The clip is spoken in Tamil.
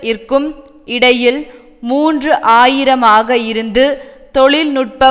இற்கும் இடையில் மூன்று ஆயிரம் ஆக இருந்து தொழில் நுட்ப